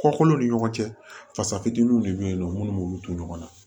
Kɔkolo ni ɲɔgɔn cɛ fasa fitininw de bɛ yen nɔ minnu b'olu to ɲɔgɔn na